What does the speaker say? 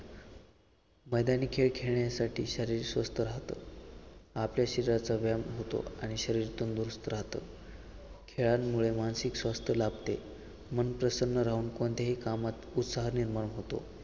मैदानी खेळ खेळण्यासाठी शरीर स्वस्थ राहतं आपल्या शरीराचा व्यायाम होतो आणि शरीर तंदुरुस्त राहत खेळांमुळे मानसिक स्वास्थ्य लाभते मन प्रसन्न राहून कोणत्याही कामात उत्साह निर्माण होतो.